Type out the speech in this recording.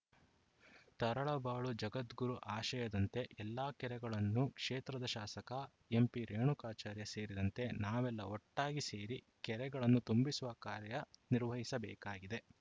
ತರಳಬಾಳು ಜಗದ್ಗುರು ಆಶಯದಂತೆ ಎಲ್ಲ ಕೆರೆಗಳನ್ನು ಕ್ಷೇತ್ರದ ಶಾಸಕ ಎಂಪಿ ರೇಣುಕಾಚಾರ್ಯ ಸೇರಿದಂತೆ ನಾವೆಲ್ಲಾ ಒಟ್ಟಾಗಿ ಸೇರಿ ಕೆರೆಗಳನ್ನು ತುಂಬಿಸುವ ಕಾರ್ಯನಿರ್ವಹಿಸಬೇಕಾಗಿದೆ